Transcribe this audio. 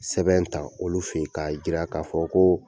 Sɛbɛn tan k'olu fe ye k'a jira k'a fɔ koo